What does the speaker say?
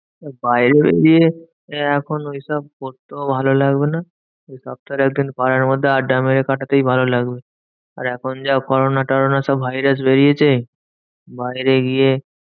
বাইরে গিয়ে এখন ওইসব করতেও ভালো লাগবে না। তার থেকে একদিন ওই পাড়ার মধ্যে আড্ডা মেরে কাটাতেই ভালো লাগবে। আর এখন যা corona টোরোনা সব virus বেরিয়েছে, বাইরে গিয়ে